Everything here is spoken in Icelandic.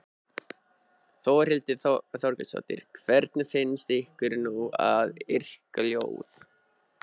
Þórhildur Þorkelsdóttir: Hvernig finnst ykkur nú að yrkja ljóð?